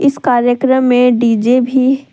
इस कार्यक्रम में डी_जे भी--